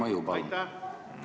Aeg on läbi!